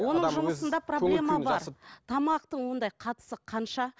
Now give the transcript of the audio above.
оның жұмысында проблема бар тамақтың ондай қатысы қанша